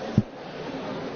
Herr Präsident!